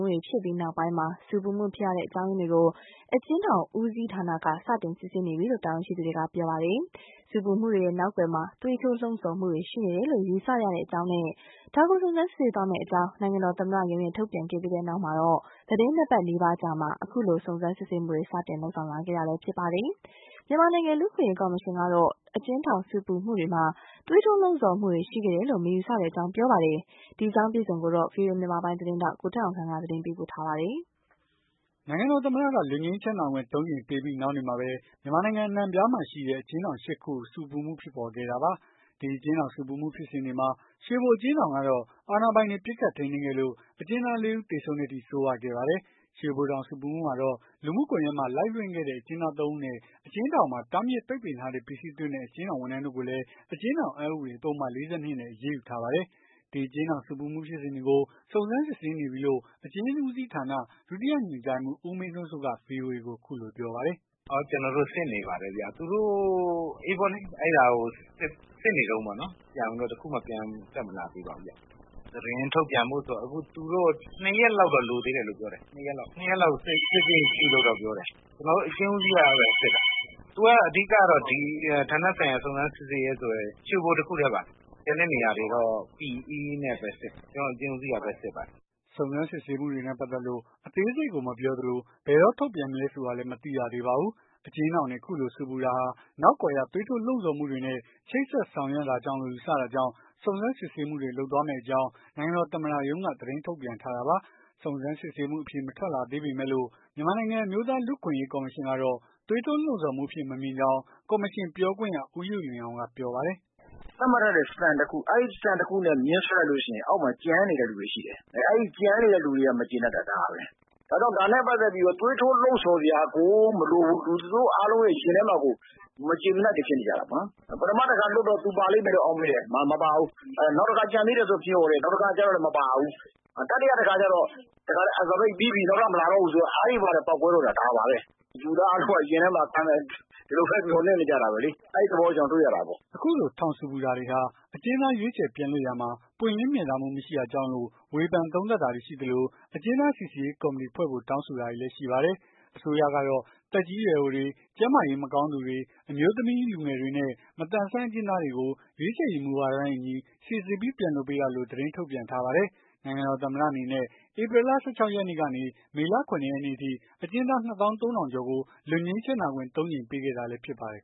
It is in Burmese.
တွေ ဖြစ်ပြီးနောက်ပိုင်း ဆူပူမှုဖြစ်ရတဲ့အကြောင်းအရင်းတွေကို အကျဉ်း ဦးစီး ဌာနက စတင်စစ်ဆေးနေပြီလို့ တာဝန်ရှိသူတွေက ပြောပါတယ်။ ဆူပူမှုတွေရဲ့ နောက်ကွယ်မှာ သွေးထိုးလှုံ့ဆော်မှုတွေ ရှိနေတယ်လို့ ယူဆရကြောင်းနဲ့ ဒါကို စုံစမ်းစစ်ဆေးသွားမယ့် အကြောင်း နိုင်ငံတော်သမ္မရုံးရဲ့ထုတ်ပြန်ခဲ့ပြီးတဲ့နောက် သီတင်းနှစ်ပတ်နီးပါးအကြာမှာ ခုလို စုံစမ်းစစ်ဆေးမှုတွေ စတင်လုပ်ဆောင်လာခဲ့တာဖြစ်ပါတယ်။ မြန်မာနိုင်ငံလူ့အခွင့်အရေး ကော်မရှင်ကတော့ အကျဉ်းထောင်ဆူပူမှုတွေမှာ သွေးထိုးလှုံ့ဆော်မှုတွေရှိခဲ့တယ်လို့ မယူဆကြောင်း ပြောပါတယ်။ ဒီအကြောင်းကို ဗွီအိုအေ မြန်မာပိုင်း သတင်းထောက် ကိုထက်အောင်ခန့်က သတင်းပေးပို့ထားပါတယ်။ နိုင်ငံတော်သမ္မတက လွတ်ငြိမ်းချမ်းသာခွင့် ၃ ကြိမ်ပေးပြီးနောက်နေ့မှာပဲ မြန်မာနိုင်ငံအနှံ့အပြားမှာရှိတဲ့ အကျဉ်းထောင် ၈ ခု ဆူပူမှုဖြစ်ပေါ်ခဲ့တာပါ။ ဒီအကျဉ်းထောင် ဆူပူမှုဖြစ်စဉ်တွေမှာ ရွှေဘို အကျဉ်း ထောင်ကတော့ အာဏာပိုင်တွေ ပစ်ခတ်ထိန်းသိမ်းခဲ့လို့ အကျဉ်းသား ၄ ဦး သေဆုံးတဲ့အထိ ဆိုးရွားခဲ့ပါတယ်။ ရွှေဘိုထောင်ဆူပူမှုမှာတော့ လူမှုကွန်ယက်မှာ Live လွှင့်ခဲ့တဲ့ အကျဉ်းသား ၃ ဦးနဲ့ အကျဉ်းထောင်မှာ တားမြစ် ပိတ်ပင်ထားတဲ့ ပစ္စည်းသွင်းတဲ့ အကျဉ်းထောင်ဝန်ထမ်းတို့ကိုလည်း အကျဉ်းထောင် အက်ဥပဒေပုဒ်မ ၄၂ နဲ့ အရေးယူထားပါတယ်။ ဒီအကျဉ်းထောင်ဆူပူမှု ဖြစ်စဉ်တွေကို စုံစမ်းစစ်ဆေးနေပြီးလို့ အကျဉ်းဦးစီးဌာနက ဒုတိယညွှန်ကြားရေးမှူး ဦးမင်းထွန်းစိုးက ဗွီအိုအေကို အခုလိုပြောပါတယ်။ "ကျွန်တော်တို့စစ်နေပါတယ်ခင်ဗျ။ သူတို့အဲ့ဒါကို စစ်နေတုန်းပေါ့လေ။ ပြန်ပြီးတော့ တခုမှ ပြန်မတက်လာ သေးပါဘူးခင်ဗျ။ သတင်းထုတ်ပြန်ဖို့ဆို သူတို့ ၂ ရက်လောက်တော့ လိုသေးတယ်လို့ပြောတယ်။ ၂ ရက်လောက် စစ်ဆေးစရာရှိတယ်ပြောတယ်။ ကျွန်တော်တို့အကျဉ်းဦးစီးကပဲစစ်တာ။ သူကအဓိက ဌာန ဆိုင်ရာ စုံစမ်းစစ်ဆေးရေး ရွှေဘိုတခုတည်းပါ။ ကျန်တဲ့နေရာတွေတော့ PE(ကနဦးစုံစမ်းစစ်ဆေးချက်) နဲ့ပဲစစ်တယ်။ အကျဉ်းဦးစီးကပဲစစ်ပါတယ်။" စုံစမ်းစစ်ဆေးမှုတွေနဲ့ ပတ်သက်လို့ အသေးစိတ်ကို မပြောသလို၊ ဘယ်တော့ထုတ်ပြန်မလဲ ဆိုတာလည်း မသိရသေးပါဘူး။ အကျဉ်းထောင်တွေ အခုလိုဆူပူတာဟာ နောက်ကွယ်က သွေးထိုးလှုံ့ဆော်မှုတွေနဲ့ ချိတ်ဆက်ဆောင်ရွက် တာကြောင့်လို့ ယူဆရတာကြောင့် စုံစမ်းစစ်ဆေးမှုတွေ လုပ်သွားမယ့်အကြောင်း နိုင်ငံတော် သမ္မတရုံးက သတင်းထုတ်ပြန်ထားတာပါ။ စုံစမ်းစစ်ဆေးမှုအဖြေ ထွက်မလာသေးပေမဲ့လို့၊ မြန်မာနိုင်ငံ အမျိုးသားလူ့အခွင့်အရေး ကော်မရှင်ကတော့ သွေးထိုး လှုံ့ဆော်မှုအဖြစ် မမြင်ကြောင်း ကော်မရှင်ပြောခွင့်ရ ဦးယုလွင်အောင်က ပြောပါတယ်။ "သတ်မှတ်ထားတဲ့ စံ တခု အဲ့စံတခုနဲ့ မျဉ်းဆွဲလိုက်လို့ရှိရင် အောက်မှာ ကျန်နေတဲ့လူတွေရှိတယ်။ အဲ့ကျန်နေတဲ့လူတွေက မကျေနပ်တာ ဒါပဲ။ အဲ့တော့ ဒါနဲ့ပတ်သက်ပြီးတော့ သွေးထိုးလှုံ့ဆော်စရာကို မလိုဘူး သူတို့အားလုံးရဲ့ ရင်ထဲမှာကို မကျေမနပ်တွေဖြစ်နေကြတာ။ ပထမတခါ လွှတ်တော့ သူပါလိမ့်မယ်လို့ အောက် မေ့တယ်မပါဘူး။ နောက်တခါ ကျန်သေးတယ်ဆိုပြီးတော့ မျှော်တယ်။ မပါဘူး။ တတိယတခါကျတော့ အစာပိတ် ပြီးပြီ နောက်ထပ်မလာတော့ဘူးဆိုတော့ အဲ့ဒီမှာတင် ပေါက်ကွဲတော့တာ ဒါပါပဲ။ လူသားအားလုံးက ရင်ထဲမှာ ဒီလိုပဲ မျှော်လင့်နေကြတာပဲလေ။ အဲ့သဘောတွေ တွေ့ရတာပေါ့။" အခုလိုထောင်ဆူပူတာတွေဟာ အကျဉ်းသား ရွေးချယ်ပြန်လွှတ်ရာမှာ ပွင့်လင်းမြင်သာမှုမရှိတာကြောင့်လို့ ဝေဖန်သုံးသပ်တာတွေရှိသလို အကျဉ်းသားစိစစ်ရေး ကော်မတီဖွဲ့ဖို့ တောင်းဆိုတာတွေလည်း ရှိပါတယ်။။ အစိုးရကတော့ သက်ကြီးရွယ်အိုတွေ ကျန်းမာရေး မကောင်းသူတွေ အမျိုးသမီး လူငယ်တွေနဲ့ မသန်စွမ်း အကျဉ်းသားတွေကို ရွေးချယ်ရေး မူဝါဒနဲ့အညီ စိစစ်ပြီး ပြန်လွှတ်ပေးတာလို့ သတင်းထုတ်ပြန်ထားပါတယ်။ နိုင်ငံတော် သမ္မတအနေနဲ့ ဧပြီလ ၁၆ ရက်နေ့ကနေ မေလ ၇ ရက်နေ့အထိ အကျဉ်းသား ၂ သောင်း ၃ ထောင် ကျော်ကို လွတ်ငြိမ်းချမ်းသာခွင့် ၃ ကြိမ်ပေးခဲ့တာလည်း ဖြစ်ပါတယ်